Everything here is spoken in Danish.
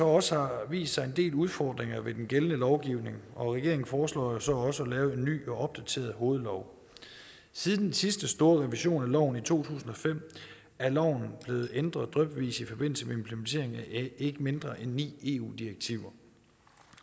også har vist sig en del udfordringer ved den gældende lovgivning og regeringen foreslår jo så også at lave en ny og opdateret hovedlov siden den sidste store revision af loven i to tusind og fem er loven blevet ændret drypvis i forbindelse med implementeringen af ikke mindre end ni eu direktiver